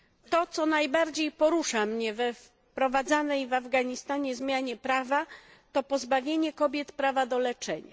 To, co najbardziej porusza mnie we wprowadzanej w Afganistanie zmianie prawa, to pozbawienie kobiet prawa do leczenia.